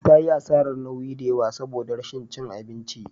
Ta yi asarar nauyi da yawa saboda rashin cin abinci.